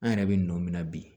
An yɛrɛ bɛ nɔ min na bi